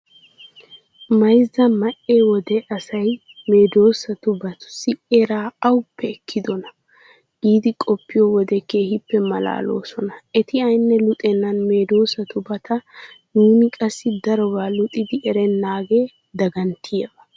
Mayzza ma"e wode asay medhdhidobatussi eraa awuppe ekkidonaa giidi qoppiyo wode keehippe maalaaloosona. Eti aynne luxennan medhdhidobata nuuni qassi darobaa luxidi erennaagee daganttiyaba.